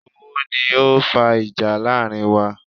Owó ni o fa ìjà láàrin wa